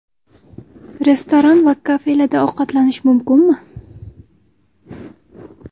Restoran va kafelarda ovqatlanish mumkinmi?